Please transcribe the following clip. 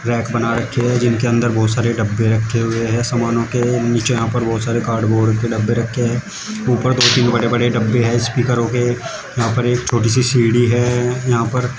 rack बना रखें हैं जिन के अंदर बहुत सारे डब्बे रखे हुए हैं सामानों के नीचे यहां पर बहुत सारे कार्डबोर्ड के डब्बे रखे हैं ऊपर दो तीन बड़े बड़े डब्बे हैं स्पीकरों के यहां पर एक छोटी सी सीढ़ी है यहां पर--